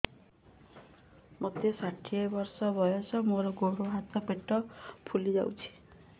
ମୋତେ ଷାଠିଏ ବର୍ଷ ବୟସ ମୋର ଗୋଡୋ ହାତ ପେଟ ଫୁଲି ଯାଉଛି